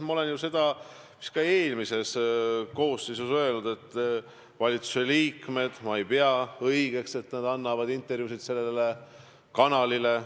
Ma olen ju seda ka eelmisele koosseisule öelnud, et ma ei pea õigeks, et valitsuse liikmed annavad intervjuusid sellele kanalile.